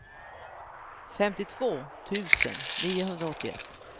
femtiotvå tusen niohundraåttioett